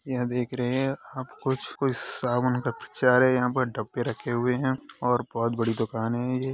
यह देख रहे है। हम कुछ कुछ साबुन का प्रचार है यहाँ पे डब्बे रखे हुए है और बहुत बड़ी दुकान है ये --